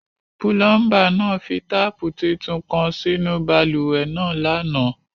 Pulọmba naa fi taapu títún kan sínu bálúwẹ̀ naa lánà.